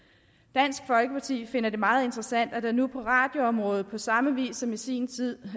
dansk folkeparti finder det meget interessant at der nu på radioområdet på samme vis som i sin tid